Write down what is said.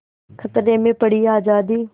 खतरे में पड़ी आज़ादी